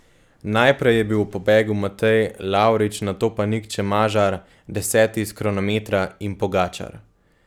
Najprej je bil v pobegu Matej Lavrič, nato pa Nik Čemažar, deseti iz kronometra, in Pogačar.